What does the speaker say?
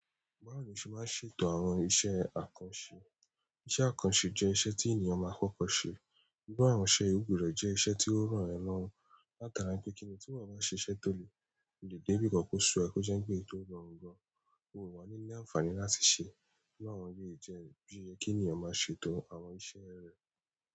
Báwo ni o ṣe máa ń ṣètò àwọn iṣẹ́ àkànṣe? Iṣẹ́ àkànṣe jẹ́ iṣẹ́ tí ènìyàn máa ń kọ́kọ́ ṣe. Nígbà àwọn ṣe gbudo jẹ́ iṣẹ́ tí ó rọ ẹ lórùn. Láti ara n pe kíni tí wọ bá ṣe iṣẹ́ tó le, o lè dé bi kan ko sọ kó so n pé n to rọrùn gan. Òwa-ni ní àǹfàní láti ṣe. Nígbà wọ̀nyí jẹ́ bí i yẹ kí ènìyàn máa ṣètò àwọn iṣẹ́ rẹ̀.